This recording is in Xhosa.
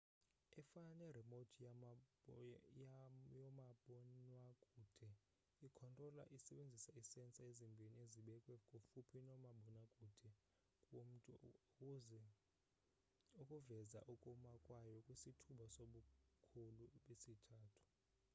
efana ne-remote yomabonwakude i-controlla isebenzisa ii-sensor ezimbhini ezibekwe kufuphi nomabonakude womntu ukuveza ukuma kwayo kwisithuba sobukhulu besithathu